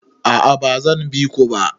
A'a ba zan bi ku ba.